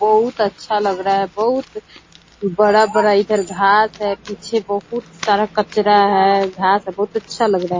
बहुत अच्छा लग रहा है बहुत बड़ा-बड़ा इधर घांस है पीछे बहुत सारा कचरा है घांस है बहुत अच्छा लग रहा है।